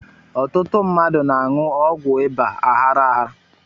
Ọtụtụ mmadụ na-aṅụ ọgwụ ịba aghara aghara